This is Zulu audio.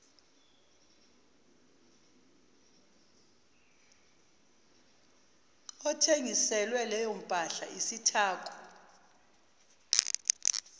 othengiselwe leyompahla isithako